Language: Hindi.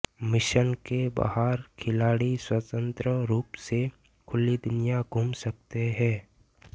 मिशन के बाहर खिलाड़ी स्वतंत्र रूप से खुली दुनिया घूम सकते हैं